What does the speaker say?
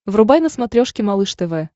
врубай на смотрешке малыш тв